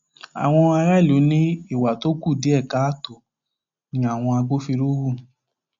àwọn aráàlú ní ìwà tó kù díẹ káàtó ni àwọn agbófinró hù